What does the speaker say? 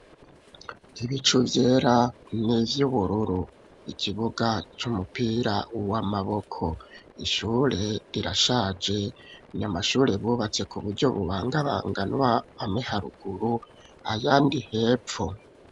Ibicu vyera, n'ivy'ubururu; ikibuga c'umupira w'amaboko, ishure rirashaje, ni amashure bubatse, ku buryo bubangabanganwa, amwe haruguru, ayandi hepfo.